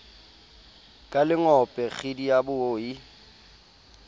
ka lengope kgidi ya boi